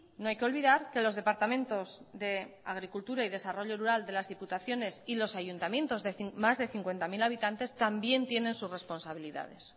no hay que olvidar que los departamentos de agricultura y desarrollo rural de las diputaciones y los ayuntamientos de más de cincuenta mil habitantes también tienen sus responsabilidades